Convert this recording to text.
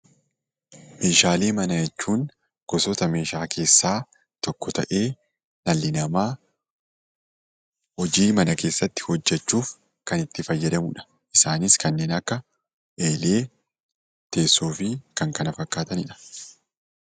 Meeshaalee manaa jechuun gosoota meeshaa keessaa tokko ta'ee, dhalli namaa hojii mana keessatti hojjechuuf kan itti fayyadamudha. Isaanis kanneen akka eelee, teessoo fi kan kana fakkaatanidha.